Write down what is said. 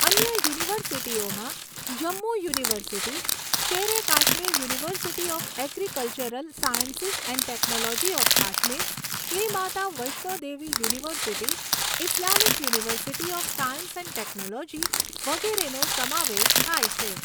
અન્ય યુનિવર્સિટીઓમાં Jammu university, Sher e Kashmir university of agricultural sciences and technology of Kashmir, Shri Mata Vaishnodevi university, Islamic university of science and technology વગેરેનો સમાવેશ થાય છે.